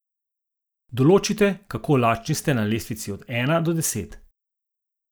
Določite, kako lačni ste na lestvici od ena do deset.